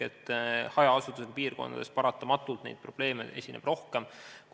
Hajaasustusega piirkondades esineb neid probleeme paratamatult rohkem.